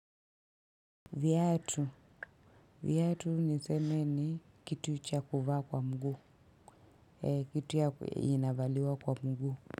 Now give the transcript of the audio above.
Viatu, viatu niseme ni kitu cha kuvaa kwa mguu, kitu inavaliwa kwa mguu.